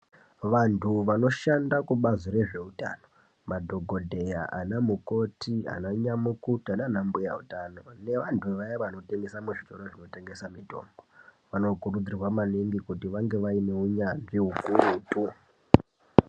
Vantu vanoshanda kubazi rezveutano, madhokodheya, anamukoti, ananyamukuta, naanambuya utano nevantu vaya vanotengesa muzvitoro zvinotengesa mitombo, vanokurudzirwa maningi kuti vange vaine unyanzvi ukurutu.